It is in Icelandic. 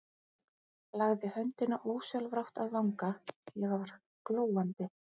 Lagði höndina ósjálfrátt að vanga, ég var glóandi.